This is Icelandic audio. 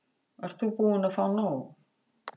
Ert þú búin að fá nóg?